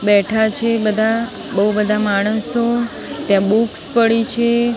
બેઠા છે બધા બો બધા માણસો ત્યાં બૂક્સ પડી છે.